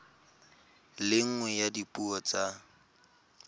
le nngwe ya dipuo tsa